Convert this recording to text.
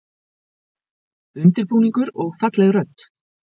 Undirbúningur og falleg rödd